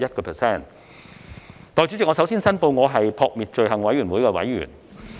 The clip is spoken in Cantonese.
代理主席，我首先申報，我是撲滅罪行委員會的委員。